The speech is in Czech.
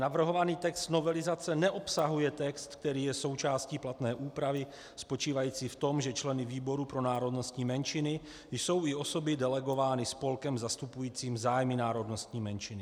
Navrhovaný text novelizace neobsahuje text, který je součástí platné úpravy spočívající v tom, že členy výboru pro národnostní menšiny jsou i osoby delegované spolkem zastupujícím zájmy národnostní menšiny.